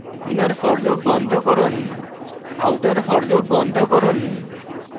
inner for loop বন্ধ করুন outer for loop বন্ধ করুন